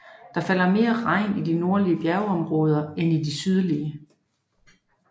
Der falder mere regn i de nordlige bjergområder end i de sydligere